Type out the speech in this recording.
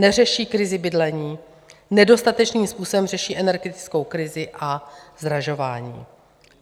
Neřeší krizi bydlení, nedostatečným způsobem řeší energetickou krizi a zdražování.